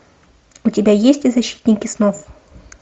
у тебя есть защитники снов